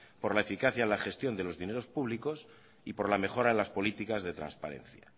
por la eficacia en la gestión de los dineros públicos y por la mejora en las políticas de transparencia